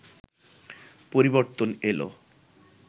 পরিবর্তন এলো